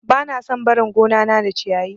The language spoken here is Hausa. Bana son barin gonana da ciyayi.